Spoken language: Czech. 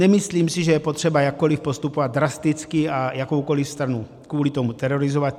Nemyslím si, že je potřeba jakkoliv postupovat drasticky a jakoukoliv stranu kvůli tomu terorizovat.